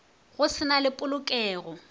go se na le polokelo